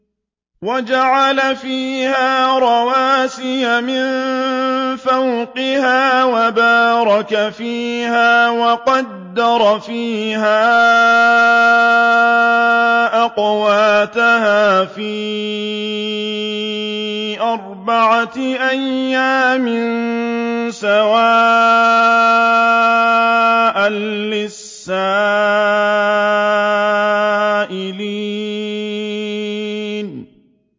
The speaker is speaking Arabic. وَجَعَلَ فِيهَا رَوَاسِيَ مِن فَوْقِهَا وَبَارَكَ فِيهَا وَقَدَّرَ فِيهَا أَقْوَاتَهَا فِي أَرْبَعَةِ أَيَّامٍ سَوَاءً لِّلسَّائِلِينَ